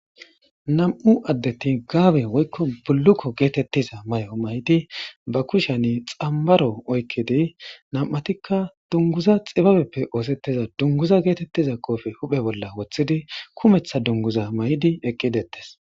Nam7u addeti gaabe woykko bullukko geetettiza may7o may7di ba kushani xammaro oykkidi nam7atikka dunguza xibabeppe oosetteza dunguza geetettiza koofe huphe bolla wothidi kumeththa dunguza may7di eqqidettes.